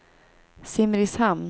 Simrishamn